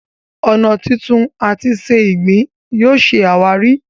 ọnà tuntun àti se ìgbín yóò ṣe àwáàrí.